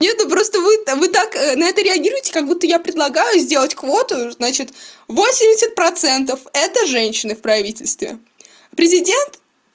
нет ну просто вы так на это реагируете как-будто я предлагаю сделать квоту значит восемьдесят процентов это женщины в правительстве президент